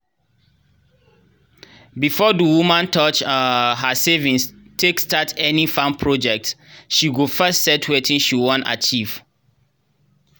before the woman touch um her savings take start any farm project she go first set wetin she wan achieve.